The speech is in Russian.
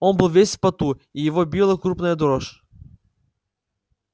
он был весь в поту и его била крупная дрожь